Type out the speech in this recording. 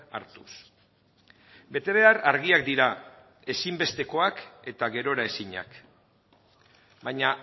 hartuz betebehar argiak dira ezinbestekoak eta geroraezinak baina